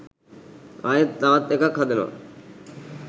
ආයෙත් තවත් එකක් හදනව